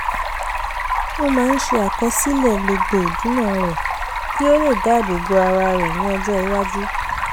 ó máa ń ṣe àkọsílẹ̀ gbogbo ìdùná rẹ̀ kí ó lè dáàbò bo ara rẹ̀ ní ọjọ́ iwájú